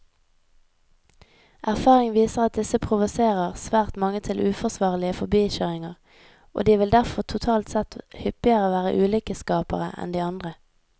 Erfaring viser at disse provoserer svært mange til uforsvarlige forbikjøringer, og de vil derfor totalt sett hyppigere være ulykkesskapere enn de andre.